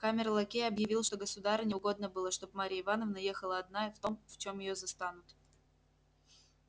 камер лакей объявил что государыне угодно было чтоб марья ивановна ехала одна и в том в чём её застанут